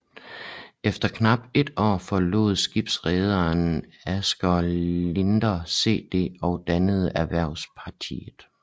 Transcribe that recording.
Efter knap et år forlod skibsrederen Asger Lindinger CD og dannede Erhvervspartiet